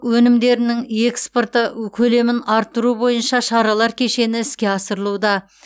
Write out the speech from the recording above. өнімдерінің экспорты ө көлемін арттыру бойынша шаралар кешені іске асырылуда